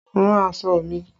Rán aṣọ mi!